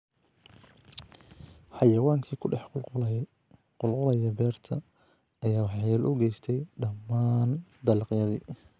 Xayawaankii ku dhex qul-qulaya beerta ayaa waxyeello u geystay dhammaan dalagyadii.